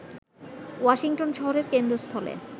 Washington শহরের কেন্দ্রস্থলে